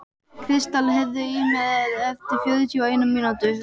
Kristall, heyrðu í mér eftir fjörutíu og eina mínútur.